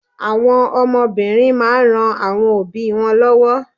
Àwọn ọmọ obìnrin máa n ran àwọn obi won lówó